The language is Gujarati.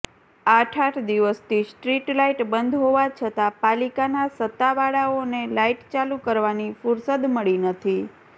આઠ આઠ દિવસથી સ્ટ્રીટલાઈટ બંધ હોવા છતાં પાલિકાના સતાવાળાઓને લાઈટ ચાલુ કરવાની ફૂરસદ મળી નથી